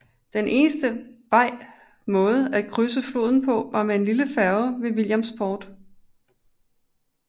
Den eneste vej måde at krydse floden på var med en lille færge ved Williamsport